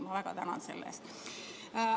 Ma väga tänan teid selle eest!